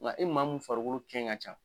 Nka e maa mun farikolo kɛn ka can